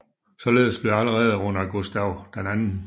Således blev allerede under Gustaf 2